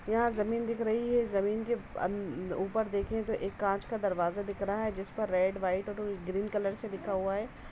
यहाँ जमीन दिख रही है। जमीन के अन ऊपर देखें तो एक कांच का दरवाज़ा दिख रहा है जिस पर रेड व्हाइट और ग्रीन कलर से लिखा हुआ है।